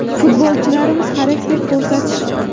Futbolchilarimiz xarakter ko‘rsatishdi.